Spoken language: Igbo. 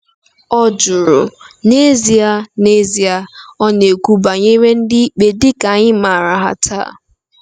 ọ jụrụ. N'ezie, N'ezie, ọ na-ekwu banyere ndị ikpe dị ka anyị maara ha taa.